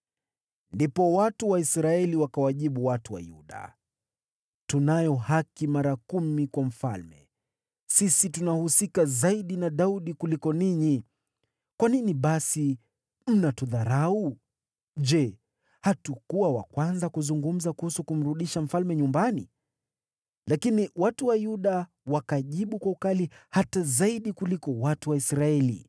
Ndipo watu wa Israeli wakawajibu watu wa Yuda, “Tunayo haki mara kumi kwa mfalme; sisi tunahusika zaidi na Daudi kuliko ninyi. Kwa nini basi mnatudharau? Je, hatukuwa wa kwanza kuzungumza kuhusu kumrudisha mfalme nyumbani?” Lakini watu wa Yuda wakajibu kwa ukali hata zaidi kuliko watu wa Israeli.